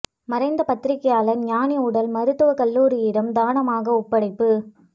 மறைந்த பத்திரிகையாளர் ஞாநி உடல் மருத்துவக் கல்லூரியிடம் தானமாக ஒப்படைப்பு